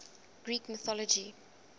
greek mythology